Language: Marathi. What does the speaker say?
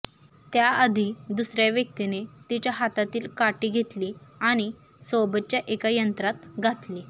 त्याआधी दुसर्या व्यक्तीने तिच्या हातातील काठी घेतली आणि सोबतच्या एका यंत्रात घातली